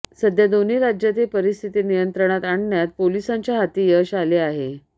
सध्या दोन्ही राज्यातील परिस्थिती नियंत्रणात आणण्यात पोलिसांच्या हाती यश आले आहे